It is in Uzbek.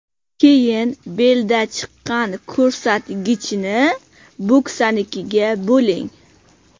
Keyin belda chiqqan ko‘rsatkichni bo‘ksanikiga bo‘ling.